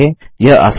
यह आसान है160